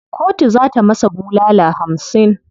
Kotu za ta masa bulala hamsin.